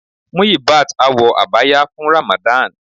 Muyibat á wọ Abaya fun Ramadan.